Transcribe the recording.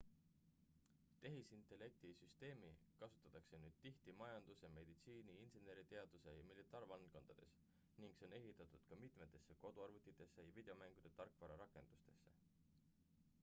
tehisintellekti süsteemi kasutatakse nüüd tihti majanduse meditsiini inseneriteaduse ja militaarvaldkondades ning see on ehitatud ka mitmetesse koduarvutitesse ja videomängude tarkvara rakendustesse